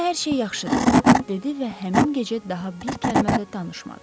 Onda hər şey yaxşıdır, dedi və həmin gecə daha bir kəlmə də danışmadı.